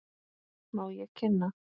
Má ég kynna.